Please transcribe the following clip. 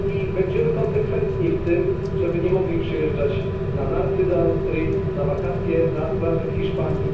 I będziemy konsekwentni w tym, żeby nie mogli przyjeżdżać na narty do Austrii, na wakacje na plaże w Hiszpanii.